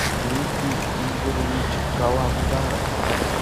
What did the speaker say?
дмитрий игоревич каландаров